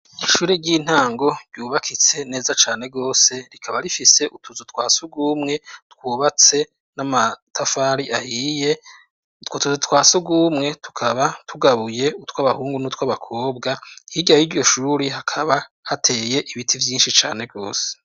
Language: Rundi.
Ishuri ry'intango ryubakitse neza cane rwose . Rikaba rifise utuzu twa surwumwe twubatse n'amatafari ahiye. Utwo tuzu twa surwumwe tukaba tugabuye: utw'abahungu n'utw'abakobwa. Hirya y'iryo shuri, hakaba hateye ibiti vyinshi cane rwose.